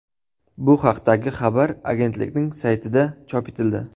Bu haqdagi xabar agentlikning saytida chop etildi .